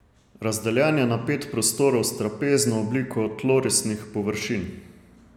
Razdeljen je na pet prostorov s trapezno obliko tlorisnih površin.